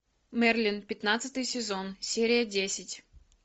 мерлин пятнадцатый сезон серия десять